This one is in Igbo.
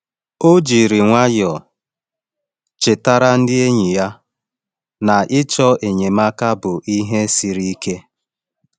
Ọ jiri nwayọọ chetara enyi ya na ịchọ enyemaka bụ ihe siri ike.